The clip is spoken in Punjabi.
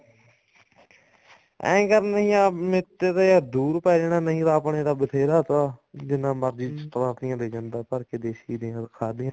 ਐਂ ਕਰ ਯਾਰ ਮੇਰੇ ਤੇ ਤਾਂ ਦੁਰ ਪੈ ਜਾਣਾ ਨਹੀਂ ਆਪਣੇ ਤਾਂ ਬਥੇਰਾ ਤਾ ਜਿੰਨਾ ਮਰਜ਼ੀ ਲੈ ਜਾਂਦਾ ਭਰ ਕੇ ਦੇਸੀ ਦੇ ਖਾਦ ਦੀਆਂ